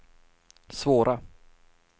svåra